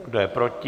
Kdo je proti?